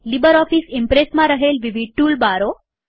LibreOffice ઈમ્પ્રેસમાં રહેલ વિવિધ ટુલ બારો